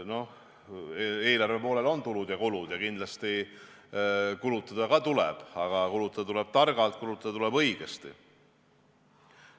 No eelarve poolel on tulud ja kulud ja kindlasti kulutada ka tuleb, aga kulutada tuleb targalt, kulutada tuleb õigesti.